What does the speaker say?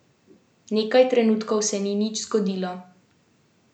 Nekaj trenutkov se ni nič zgodilo.